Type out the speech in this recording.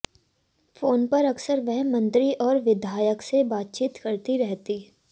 phone पर अक्सर वह मंत्री और विधायक से बातचीत करती रहती